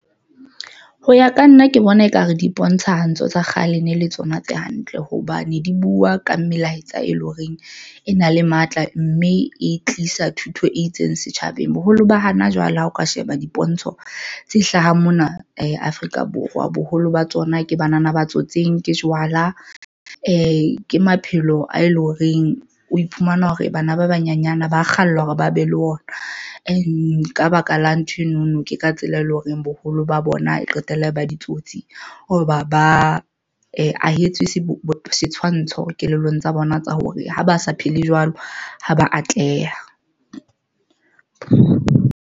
Ho ya ka nna, ke bona ekare di bontsha ho ntso tsa kgale ne le tsona tse hantle hobane di buwa ka melaetsa, e leng horeng e na le matla mme e tlisa thuto e itseng setjhabeng. Boholo ba hana jwale ha o ka sheba dipontsho tse hlahang mona Afrika Borwa, boholo ba tsona ke banana ba tsotseng ke jwala, ke maphelo a eleng horeng. O iphumana hore bana ba banyana ba kgalla hore ba be le ona e nka baka la nthwenono ke ka tsela e leng horeng boholo Bolo ba bona e qetella e ba ditsotsi hoba ba ahetswe setshwantsho kelellong tsa bona tsa hore ha ba sa phele jwalo, ha ba atleha.